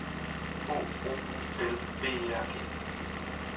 H O U L B E R G